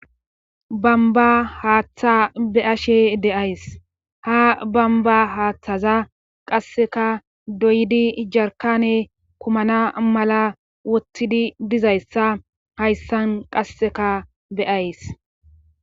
Namba haaththa be ashe deays ha bamba haaththaza qasseka doydi ijjarkane kumana mala wottidi dizayssa hayssan qasseka beyays